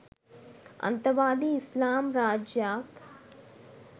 අන්තවාදී ඉස්ලාම් රාජ්‍යයක්